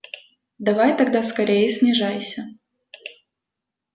давай тогда скорее снижайся